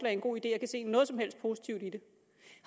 er en god idé og kan se noget som helst positivt i det